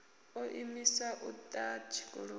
o imiswa u ḓa tshikoloni